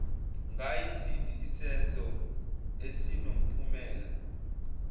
ngayisiphi isenzo esinomphumela